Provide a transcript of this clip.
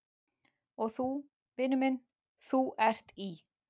Og þú, vinur minn, ÞÚ ERT Í